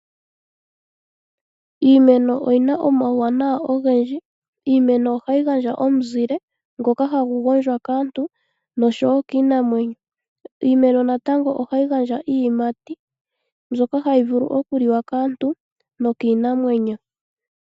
Iimeno oyi na omauwanawa ogendji oshoka ohayi gandja omuzile ngoka hagu gondjwa kaantu noshowo kiinamwenyo. Iimeno natango ohayi gandja iiyimati mbyoka hayi vulu okuliwa kaantu nokiinamwenyo.